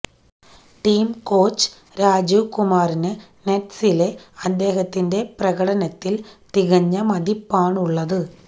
team coach Rajeev കുമാറിന് നെറ്റ്സിലെ അദ്ദേഹത്തിന്റെ പ്രകടനത്തില് തികഞ്ഞ മതിപ്പാണുള്ളത്